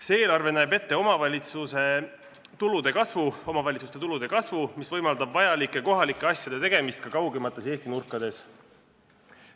See eelarve näeb ette omavalitsuste tulude kasvu, mis võimaldab vajalike kohalike asjade tegemist ka kaugemates Eesti nurkades.